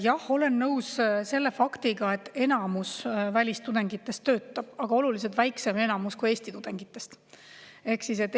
Jah, olen nõus selle faktiga, et enamus välistudengitest töötab, aga oluliselt väiksem enamus, kui Eesti tudengitest.